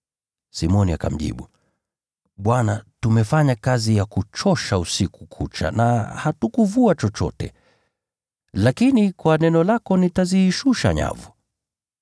Simoni akamjibu, “Bwana, tumefanya kazi ya kuchosha usiku kucha na hatukuvua chochote. Lakini, kwa neno lako nitazishusha nyavu.”